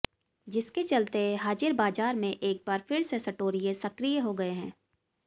जिसके चलते हाजिर बाजार में एक बार फिर से सटोरिये सक्रिय हो गए हैं